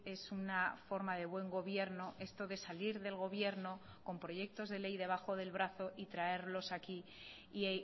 es una forma de buen gobierno esto de salir del gobierno con proyectos de ley debajo del brazo y traerlos aquí y